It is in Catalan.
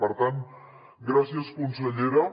per tant gràcies consellera